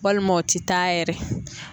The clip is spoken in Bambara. Walima o tɛ taa yɛrɛ.